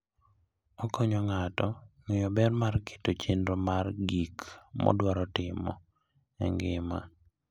Okonyo ng'ato ng'eyo ber mar keto chenro mar gik modwaro timo e ngima.